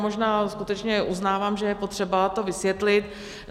Možná skutečně uznávám, že je potřeba to vysvětlit.